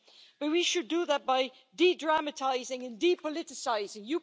Maybe we should do that by de dramatising and de politicising.